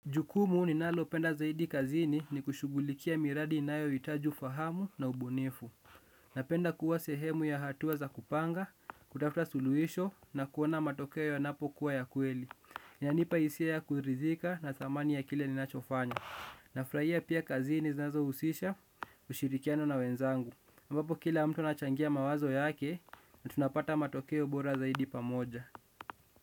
Jukumu ninalopenda zaidi kazini ni kushughulikia miradi inayohitaji ufahamu na ubunifu. Napenda kuwa sehemu ya hatua za kupanga, kutafuta suluhisho na kuona matokeo yanapokuwa ya kweli inanipa hisia ya kuridhika na dhamani ya kile ninachofanya. Nafurahia pia kazini zinazohusisha, kushirikiana na wenzangu ambapo kila mtu anachangia mawazo yake na tunapata matokeo bora zaidi pamoja.